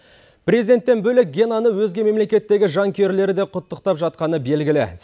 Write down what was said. президенттен бөлек генаны өзге мемлекеттегі жанкүйерлері де құттықтап жатқаны белгілі